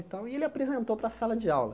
E tal e ele apresentou para a sala de aula.